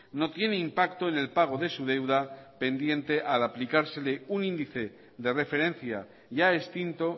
no tiene impacto en el pago de su deuda pendiente al aplicársele un índice de referencia ya extinto